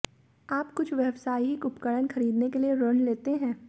आप कुछ व्यावसायिक उपकरण खरीदने के लिए ऋण लेते हैं